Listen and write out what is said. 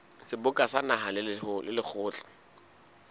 seboka sa naha le lekgotla